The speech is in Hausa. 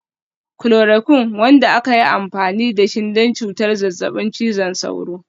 Chloroquine, wanda aka yi amfani da shi don cutar zazzabin cizon sauro.